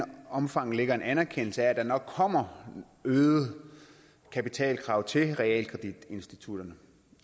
omfang ligger en anerkendelse af at der nok kommer øgede kapitalkrav til realkreditinstitutterne